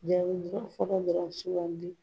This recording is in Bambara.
Jaabi dɔrɔn sugandi